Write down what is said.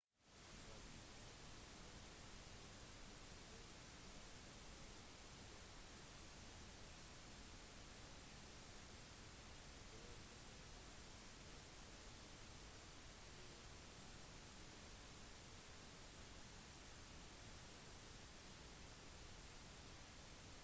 grådighet og egoisme vil alltid være en del av oss og det er samarbeidets natur at med en gang flertallet har en fordel vil man alltid få mer igjen på kort sikt dersom man handler egoistisk